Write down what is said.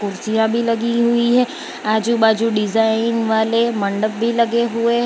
कुर्सियां भी लगी हुई हैं आजू बाजू डिजाइन वाले मंडप भी लगे हुए हैं।